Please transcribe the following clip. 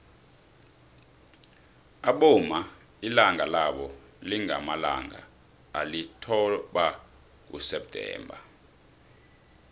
abomma ilanga labo lingamalanga alithoba kuseptember